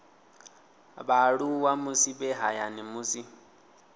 vhaaluwa musi vhe hayani musi